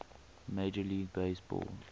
major league baseball